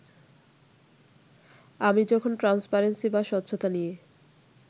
আমি যখন ট্রান্সপারেন্সি বা স্বচ্ছতা নিয়ে